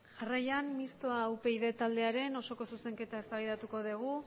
jarraian mistoa upyd taldearen osoko zuzenketa eztabaidatuko dugu